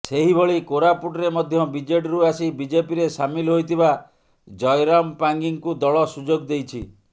ସେହିଭଳି କୋରାପୁଟରେ ମଧ୍ୟ ବିଜେଡିରୁ ଆସି ବିଜେପିରେ ସାମିଲ ହୋଇଥିବା ଜୟରାମ ପାଙ୍ଗୀଙ୍କୁ ଦଳ ସୁଯୋଗ ଦେଇଛି